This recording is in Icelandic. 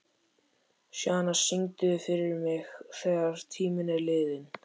Sjana, syngdu fyrir mig „Þegar tíminn er liðinn“.